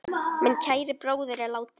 Minn kæri bróðir er látinn.